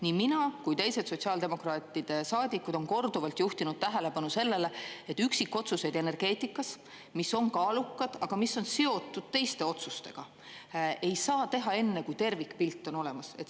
Nii mina kui teised sotsiaaldemokraatide saadikud on korduvalt juhtinud tähelepanu sellele, et üksikotsuseid energeetikas, mis on kaalukad, aga mis on seotud teiste otsustega, ei saa teha enne, kui tervikpilt on olemas.